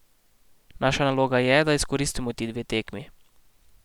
Naša naloga je, da izkoristimo ti dve tekmi.